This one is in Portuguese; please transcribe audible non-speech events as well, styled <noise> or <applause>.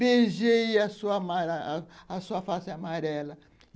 Beijei a <unintelligible> sua face amarela.